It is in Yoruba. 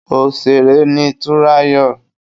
Òsèré ni Túnráyọ̀